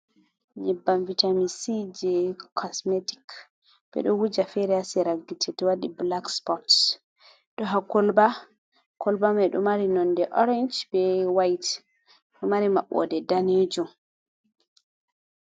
Nyeɓɓam vitamic c je cosmetic, ɓe ɗo wuja fere ha sera gite to waɗi black sports ɗo ha kolɓa, kolɓa mai ɗo mari nonɗe orange ɓe white ɗo mari maɓɓoɗe ɗanejum.